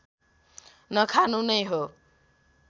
नखानु नै हो